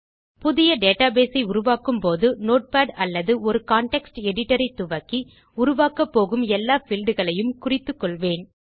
புதிய டேட்டாபேஸ் ஐ உருவாக்கும் போது நோட்பாட் அல்லது ஒரு கான்டெக்ஸ்ட் எடிட்டர் ஐத்துவக்கி உருவாக்கப்போகும் எல்லா பீல்ட்ஸ் ஐ யும் குறித்துக்கொள்வேன்